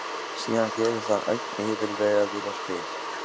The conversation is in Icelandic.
Síðan gerist hann ögn yfirvegaður og spyr